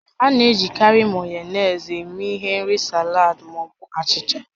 A na-ejikarị Mayonezi eme ihe n'ịri salad ma ọ bụ achịcha